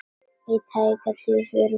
Í tæka tíð fyrir hvað?